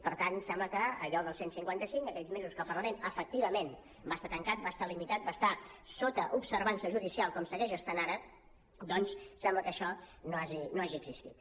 per tant sembla que allò del cent i cinquanta cinc aquells mesos que el parlament efectivament va estar tancat va estar limitat va estar sota observança judicial com segueix estant ara doncs sembla que això no hagi existit